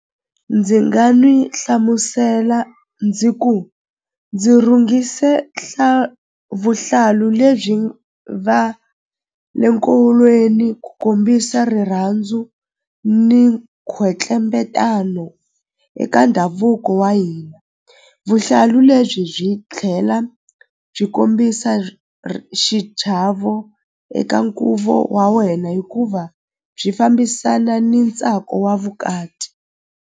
Ndzi nga n'wi hlamusela ndzi ku ndzi rhungise vuhlalu lebyi va le nkolweni ku kombisa rirhandzu ni khwetlembetano eka ndhavuko wa hina vuhlalu lebyi byi tlhela byi kombisa xichavo eka nkuvo wa wena hikuva byi fambisana ni ntsako wa vukati.